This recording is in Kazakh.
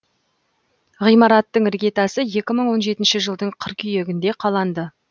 ғимараттың іргетасы екі мың он жетінші жылдың қыркүйегінде қаланды